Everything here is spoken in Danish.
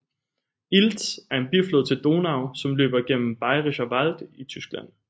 Ilz er en biflod til Donau som løber gennem Bayerischer Wald i Tyskland